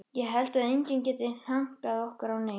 Ég held að enginn geti hankað okkur á neinu.